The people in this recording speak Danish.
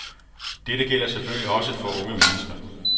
Dette gælder selvfølgelig også for unge mennesker.